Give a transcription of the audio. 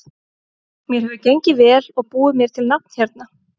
Mér hefur gengið vel og búið mér til nafn hérna.